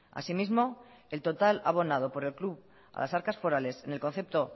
así mismo el total abonado por el club a las arcas forales en el concepto